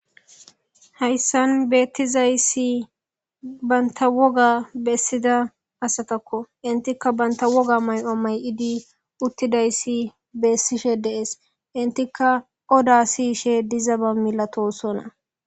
Haysa betizaysatika bantavwoga mayovbesidaysatako hesatika banta woga mayo mayid uttidaysi entika odetishe duzaba milatosoona.